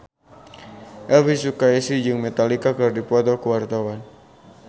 Elvi Sukaesih jeung Metallica keur dipoto ku wartawan